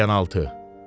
Qəlyanaltı.